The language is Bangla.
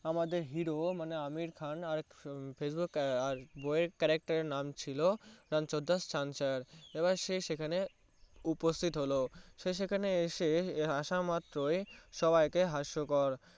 আমাদের Hero মানে আমির খান বয়ের Character এর নাম চিলো রানছর দাস ছ্যাঁচার এবার সে সেখানে উস্থিত হলো সে সেখানে এসে আসা মাত্রই সবাই কে হাস্যকর